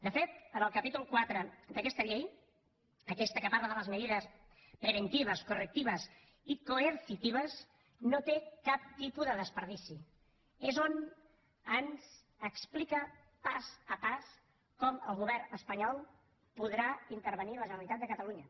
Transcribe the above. de fet el capítol iv d’aquesta llei aquesta que parla de las medidas preventivas correctivas y coercitivas no té pèrdua és on ens explica pas a pas com el govern espanyol podrà intervenir la generalitat de catalunya